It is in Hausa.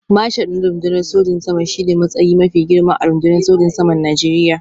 Marshal na rundunar sojin sama shi ne matsayi mafi girma a rundunar sojin saman Najeriya